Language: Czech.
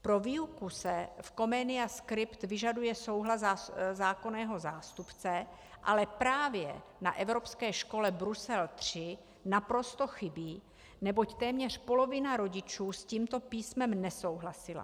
Pro výuku se v Comenia Script vyžaduje souhlas zákonného zástupce, ale právě na Evropské škole Brusel III naprosto chybí, neboť téměř polovina rodičů s tímto písmem nesouhlasila.